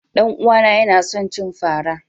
Danuwa na Yana son cin fara.